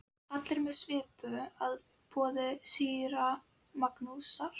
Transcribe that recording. Allir með svipu að boði síra Magnúsar.